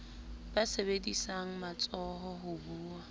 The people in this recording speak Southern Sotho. ba sebedisang matsoho ho buwa